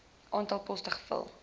aantal poste gevul